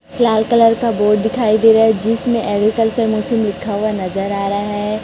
लाल colour का board दिखाई दे रहा है जिसमें एग्रीकल्चर मशीन लिखा हुआ नजर आ रहा है।